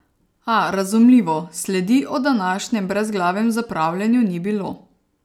A, razumljivo, sledi o današnjem brezglavem zapravljanju ni bilo.